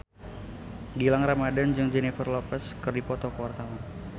Gilang Ramadan jeung Jennifer Lopez keur dipoto ku wartawan